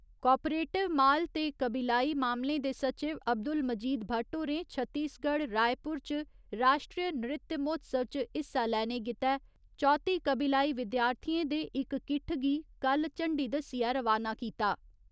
Cooperative माल ते कबीलाई मामलें दे सचिव अब्दुल मजीद भट्ट होरें छत्तीसगढ़ रायपुर च राश्ट्री नृत्य महोत्सव च हिस्सा लैने गित्तै चौत्ती कबीलाई विद्यार्थियें दे इक किट्ठ गी कल्ल झंडी दस्सिये रवाना कीता।